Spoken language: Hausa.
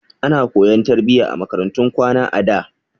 Ana koyan tarbiyya a makarantun kwana a da.